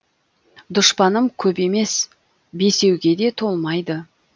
дұшпаным көп емес бесеуге де толмайды